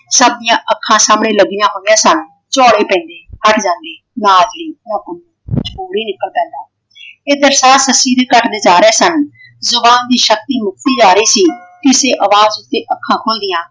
ਸਭਦੀਆਂ ਅੱਖਾਂ ਸਾਹਮਣੇ ਲੱਗੀਆਂ ਹੋਈਆਂ ਸਨ। ਝੌਲੇ ਪੈਂਦੇ ਹੱਟ ਜਾਂਦੇ ਨਾਂ ਜੀ ਮੁੰਹੂ ਕੁੱਝ ਹੋਰ ਹੀ ਨਿਕਲ ਪੈਂਦਾ। ਇਧਰ ਸਾਹ ਸੱਸੀ ਦੇ ਘੱਟਦੇ ਜਾ ਰਹੇ ਸਨ। ਜੁਬਾਨ ਦੀ ਸ਼ਕਤੀ ਮੁੱਕਦੀ ਜਾ ਰਹੀ ਸੀ। ਕਿਸੇ ਅਵਾਜ ਉੱਤੇ ਅੱਖਾਂ ਖੁੱਲਦੀਆਂ।